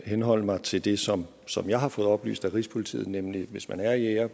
henholde mig til det som som jeg har fået oplyst af rigspolitiet nemlig at hvis man er jæger